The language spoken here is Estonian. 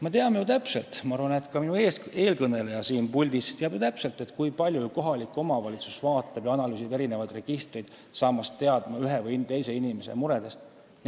Me teame ju täpselt – ma arvan, et ka siin puldis olnud eelkõneleja teab seda –, kui palju kohalik omavalitsus vaatab ja analüüsib erinevaid registreid, et ühe või teise inimese muredest teada saada.